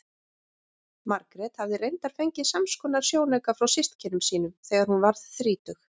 Margrét hafði reyndar fengið samskonar sjónauka frá systkinum sínum þegar hún varð þrítug.